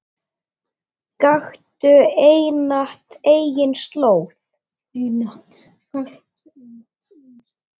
Gakktu einatt eigin slóð.